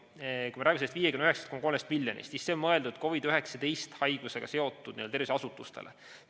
Kui me räägime sellest 59,3 miljonist, siis see on mõeldud COVID‑19 haigusega seotud tervishoiuasutustele.